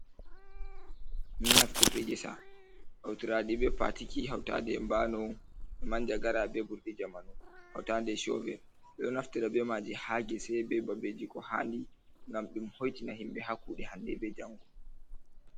Naftirɗe ngesa hautiraɗi be patiki hautande e bano nda manjagara be ɓurɗi jamanu, hautde shoverl ɓeɗo naftira beimaji ha ɗee be babeji ko handi gam hoitina himɓɓe ha kuɗe hande bei jango.